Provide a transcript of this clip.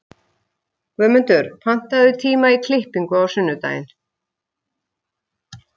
Guðmundur, pantaðu tíma í klippingu á sunnudaginn.